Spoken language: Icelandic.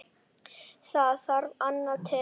Það þarf annað til.